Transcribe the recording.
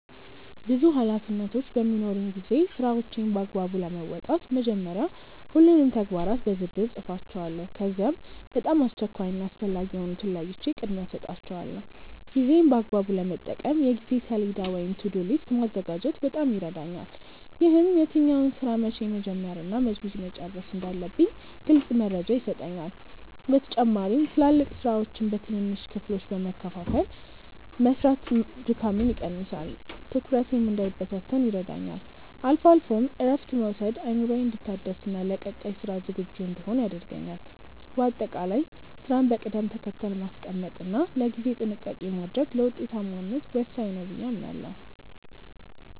ብዙ ኃላፊነቶች በሚኖሩኝ ጊዜ ስራዎቼን በአግባቡ ለመወጣት መጀመሪያ ሁሉንም ተግባራት በዝርዝር እጽፋቸዋለሁ። ከዚያም በጣም አስቸኳይ እና አስፈላጊ የሆኑትን ለይቼ ቅድሚያ እሰጣቸዋለሁ። ጊዜዬን በአግባቡ ለመጠቀም የጊዜ ሰሌዳ ወይም "To-do list" ማዘጋጀት በጣም ይረዳኛል። ይህም የትኛውን ስራ መቼ መጀመር እና መቼ መጨረስ እንዳለብኝ ግልጽ መረጃ ይሰጠኛል። በተጨማሪም ትላልቅ ስራዎችን በትንንሽ ክፍሎች በመከፋፈል መስራት ድካምን ይቀንሳል፤ ትኩረቴም እንዳይበታተን ይረዳኛል። አልፎ አልፎም እረፍት መውሰድ አእምሮዬ እንዲታደስና ለቀጣይ ስራ ዝግጁ እንድሆን ያደርገኛል። በአጠቃላይ ስራን በቅደም ተከተል ማስቀመጥ እና ለጊዜ ጥንቃቄ ማድረግ ለውጤታማነት ወሳኝ ነው ብዬ አምናለሁ።